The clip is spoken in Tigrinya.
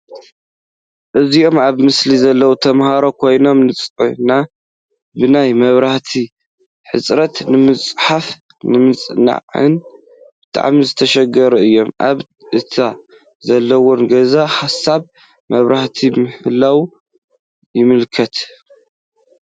እዞም ኣብ ምስሊ ዘለዉ ተምሃሮ ኮይኖም ንምጽናዕ ብናይ መብራህቲ ሕጽረት ንምጽሓፍን ንምጽናዕን ብጣዕሚ ዝተሸገሩ እዮም። ኣብ እታ ዘለዉዋ ገዛ ሃሳስ መብራህቲ ምህላዋ ይምላኽት።